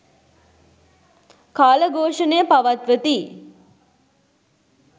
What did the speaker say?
කාල ඝෝෂණය පවත්වති.